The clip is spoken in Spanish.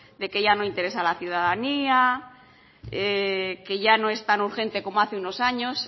de que ya no interesa a la ciudadanía que ya no es tan urgente como hace unos años